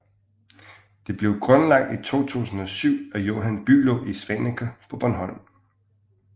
Det blev grundlagt i 2007 af Johan Bülow i Svaneke på Bornholm